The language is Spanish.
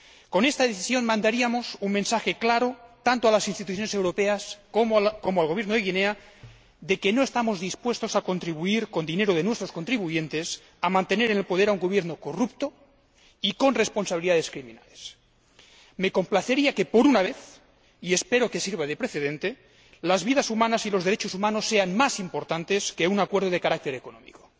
Con esta decisión mandaríamos un mensaje claro, tanto a las instituciones europeas como al Gobierno de Guinea, de que no estamos dispuestos a contribuir con dinero de nuestros contribuyentes a mantener en el poder a un Gobierno corrupto y con responsabilidades criminales. Me complacería que, por una vez —y espero que sirva de precedente—, las vidas humanas y los derechos humanos sean más importantes que un acuerdo de carácter económico.